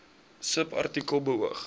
subartikel beoog